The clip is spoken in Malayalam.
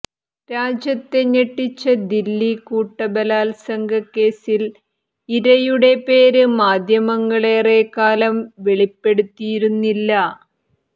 രാജ്യത്തെ ഞെട്ടിച്ച ദില്ലി കൂട്ടബലാത്സംഗ കേസിൽ ഇരയുടെ പേര് മാധ്യമങ്ങള് ഏറെക്കാലം വെളിപ്പെടുത്തിയിരുന്നില്ല